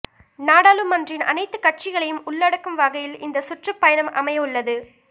நாடாளுமன்றின் அனைத்து கட்சிகளையும் உள்ளடக்கும் வகையில் இந்த சுற்றுப் பயணம் அமையவுள்ளது